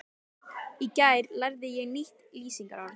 Í gær lærði ég nýtt lýsingarorð.